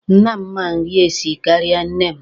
Nna m ma nri esi karịa nne m.